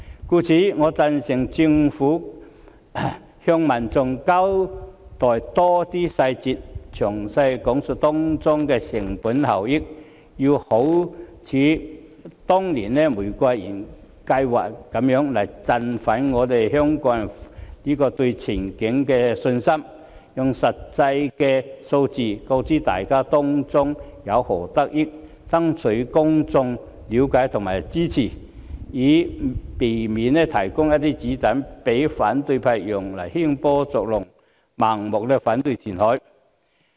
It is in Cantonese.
因此，我贊成政府向民眾交代更多細節，詳細講述當中的成本效益，好像當年的玫瑰園計劃般振奮香港人對前景的信心，用實際數字告知大家當中有何得益，爭取公眾的了解及支持，以免提供一些"子彈"讓反對派用來興波作浪，盲目反對填海。